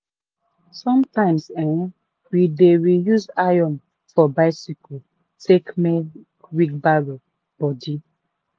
sometimes eh we dey reuse iron for biccyle take make wheelbarrow body